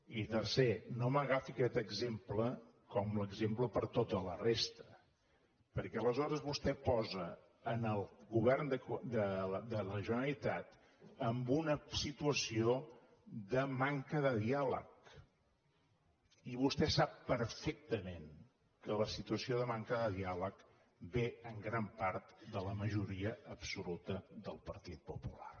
i tercera no m’agafi aquest exemple com l’exemple per a tota la resta perquè aleshores vostè posa el go·vern de la generalitat en una situació de manca de di·àleg i vostè sap perfectament que la situació de man·ca de diàleg ve en gran part de la majoria absoluta del partit popular